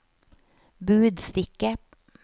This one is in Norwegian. budstikke